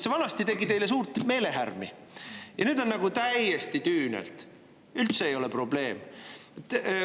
Vanasti tegi see teile suurt meelehärmi, aga nüüd nagu täiesti tüünelt, ei ole üldse probleem.